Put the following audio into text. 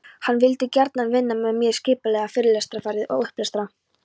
Hann vildi gjarnan vinna með mér, skipuleggja fyrirlestraferðir og upplestra.